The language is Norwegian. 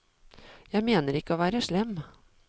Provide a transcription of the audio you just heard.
Jeg mener ikke å være slem.